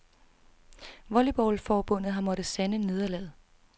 Volleyballforbundet har måtte sande nederlaget.